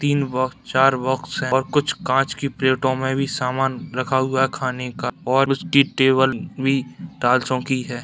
तीन बॉक्स चार बॉक्स और कुछ कांच की प्लेटो में भी सामान रखा हुआ खाने का और उसकी टेबल भी टाइलसो की है।